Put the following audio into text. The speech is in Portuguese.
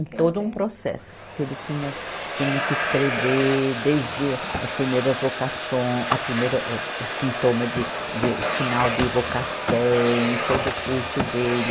Todo um processo, que ele tinha, tinha que escrever desde as primeira vocaçõ, a primeira, âh, sintoma de, de, sinal de vocação e todo o curso dele.